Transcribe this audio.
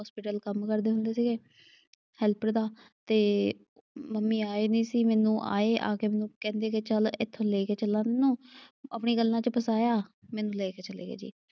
Hospital ਕੰਮ ਕਰਦੇ ਹੁੰਦੇ ਸੀਗੇ, ਹੈਲਪਰ ਦਾ ਤੇ ਮੰਮੀ ਆਏ ਨਈਂ ਸੀ। ਮੈਨੂੰ ਆਏ ਆ ਕੇ ਮੈਨੂੰ ਕਹਿੰਦੇ ਕਿ ਚੱਲ ਇੱਥੇ ਤੈਨੂੰ ਲੈ ਕੇ ਚਲਾਂ ਤੈਨੂੰ। ਆਪਣੀਆਂ ਗੱਲਾਂ ਚ ਫਸਾਇਆ, ਮੈਨੂੰ ਲੈ ਕੇ ਚਲੇ ਗਏ ਜੀ।